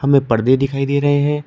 हमें पर्दे दिखाई दे रहे हैं।